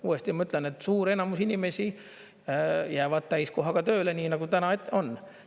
Uuesti ütlen, et suur enamus inimesi jäävad täiskohaga tööle, nii nagu täna on.